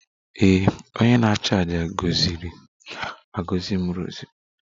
Ee, onye nchụàjà gọziri agọzi m rosary